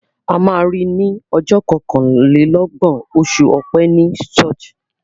A ma ri ní ọjọ́ kọkànlélọ́gbọ̀n oṣù Ọ̀pẹ ní ṣọ́ọ̀ṣì.